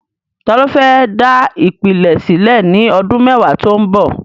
Ta ló fẹ́ dá ìpìlẹ̀ sílẹ̀ ní ọdún mẹ́wàá tó ń bọ̀?